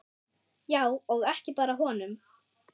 Já, og ekki bara honum.